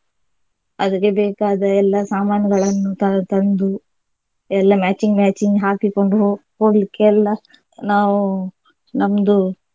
ಅದಕ್ಕೆ ಬೇಕಾದ ಎಲ್ಲಾ ಸಾಮಾನುಗಳನ್ನು ತ~ ತಂದು ಎಲ್ಲಾ matching matching ಹಾಕಿಕೊಂಡು ಹೋಗ್~ ಹೋಗ್ಲಿಕ್ಕೆ ಎಲ್ಲಾ ನಾವು ನಮ್ದು.